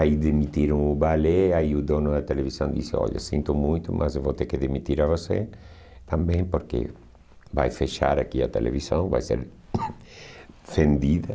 Aí demitiram o balé, aí o dono da televisão disse, olha, sinto muito, mas eu vou ter que demitir a você também, porque vai fechar aqui a televisão, vai ser vendida.